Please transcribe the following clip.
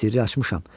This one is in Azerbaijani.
Sirri açmışam.